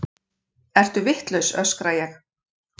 Ertu vitlaus, öskra ég.